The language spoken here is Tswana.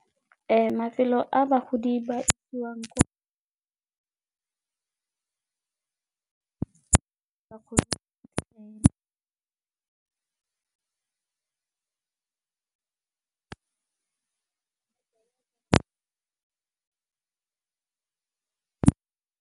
Mafelo a bagodi ba .